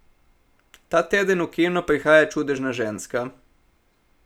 Ta teden v kino prihaja Čudežna ženska.